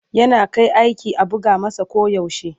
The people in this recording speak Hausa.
Yana kai aiki a buga masa koyaushe.